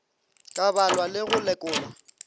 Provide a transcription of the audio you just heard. ka balwa le go lekolwa